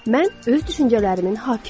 Mən öz düşüncələrimin hakimiyəm.